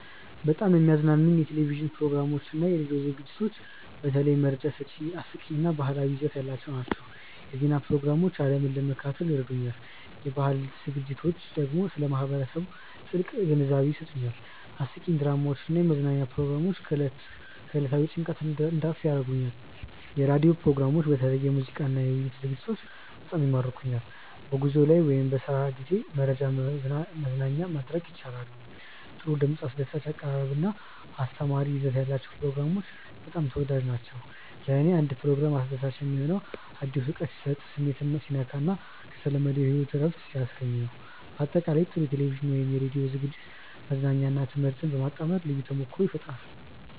በጣም የሚያዝናኑኝ የቴሌቪዥን ፕሮግራሞችና የራዲዮ ዝግጅቶች በተለይ መረጃ ሰጪ፣ አስቂኝ እና ባህላዊ ይዘት ያላቸው ናቸው። የዜና ፕሮግራሞች ዓለምን ለመከታተል ይረዱኛል፣ የባህል ዝግጅቶች ደግሞ ስለ ማህበረሰብ ጥልቅ ግንዛቤ ይሰጡኛል። አስቂኝ ድራማዎች እና የመዝናኛ ፕሮግራሞች ከዕለታዊ ጭንቀት እንድረፍ ያደርጉኛል። የራዲዮ ፕሮግራሞችም በተለይ የሙዚቃና የውይይት ዝግጅቶች በጣም ይማርኩኛል። በጉዞ ላይ ወይም በስራ ጊዜ መረጃና መዝናኛ ማግኘት ያስችላሉ። ጥሩ ድምፅ፣ አስደሳች አቀራረብ እና አስተማሪ ይዘት ያላቸው ፕሮግራሞች በጣም ተወዳጅ ናቸው። ለእኔ አንድ ፕሮግራም አስደሳች የሚሆነው አዲስ እውቀት ሲሰጥ፣ ስሜትን ሲነካ እና ከተለመደው ሕይወት እረፍት ሲያስገኝ ነው። በአጠቃላይ፣ ጥሩ የቴሌቪዥን ወይም የራዲዮ ዝግጅት መዝናኛንና ትምህርትን በማጣመር ልዩ ተሞክሮ ይፈጥራል